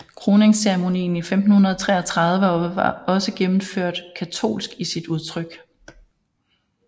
Kroningsceremonien i 1533 var også gennemført katolsk i sit udtryk